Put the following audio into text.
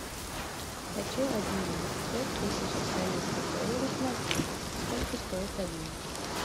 хочу обменять пять тысяч австралийских долларов на фунты сколько стоит обмен